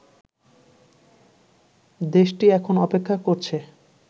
দেশটি এখন অপেক্ষা করছে